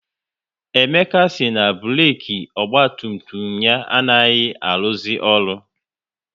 Emeka si na burek ọgba tum tum ya anaghị aruzi ọrụ